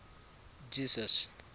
jesus